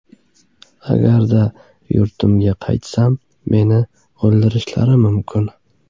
Agarda yurtimga qaytsam, men o‘ldirishlari mumkin.